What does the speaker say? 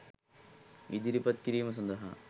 ඉදිරිපත් කිරීම සඳහා